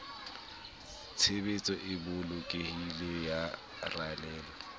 tshebetso e bolokehileng ya ralewa